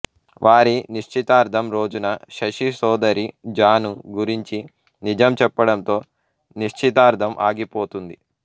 వారి నిశ్చితార్థం రోజున శశి సోదరి జాను గురించి నిజం చెప్పడంతో నిశ్చితార్థం ఆగిపోతుంది